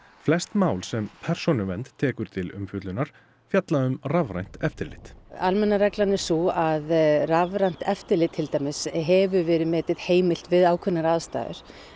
flest mál sem Persónuvernd tekur til umfjöllunar fjalla um rafrænt eftirlit almenna reglan er sú að rafrænt eftirlit til dæmis hefur verið metið heimilt við ákveðnar aðstæður